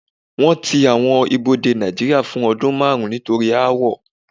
Wọ́n ti àwọn ibodè Nàìjíría fún ọdún márùn-ún nítorí aáwọ̀.